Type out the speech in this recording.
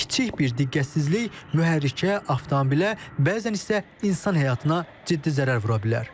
Kiçik bir diqqətsizlik mühərrikə, avtomobilə, bəzən isə insan həyatına ciddi zərər vura bilər.